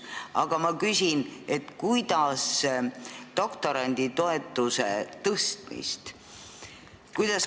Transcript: Aga ma küsin doktoranditoetuse suurendamise kohta.